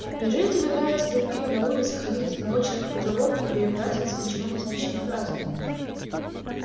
неужели тебе нравится дуть пиво на улице ходить от одного человека к другому и перебрасываться ничего не значащими фразами